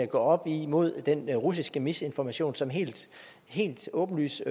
gå op imod den russiske misinformation som helt helt åbenlyst